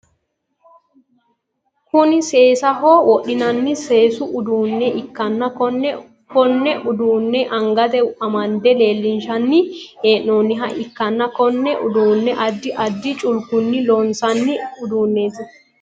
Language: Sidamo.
Kunni seesaho wodhinnanni seesu uduune ikanna Konne uduune angate amande leelinshanni hee'noonniha ikanna Konne uduune addi addi culkunni loonsanni uduunneeti.